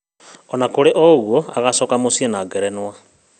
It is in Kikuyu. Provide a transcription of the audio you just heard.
Onakũrĩ ũguo agacoka mũciĩ na ngerenwa